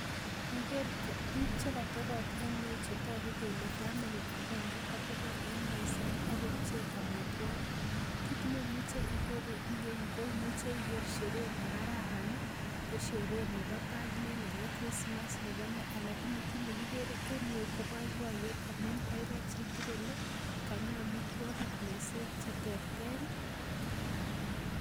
Niker biik chekotobot en yuu chetogu kele family agenge kotobot en meset akopchee amitwogik kit nemuche iker en yeu koimuche ikere sherehe nekararan ih ko sherehe nebo birthday nebo Christmas nebo nee lakini kit nekikere en yeu ko boiboiyet amun baibai chitugul ih kanyi amitwogik meset cheterter ih